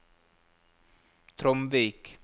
Tromvik